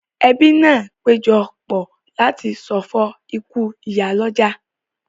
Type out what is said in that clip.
Ẹbí náà péjọ pọ̀ láti ṣọ̀fọ̀ ikú ìyálọ́jà